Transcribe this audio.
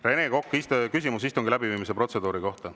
Rene Kokk, küsimus istungi läbiviimise protseduuri kohta.